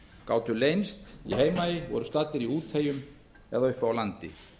gátu leynst í heimaey voru staddir í úteyjum eða uppi á landi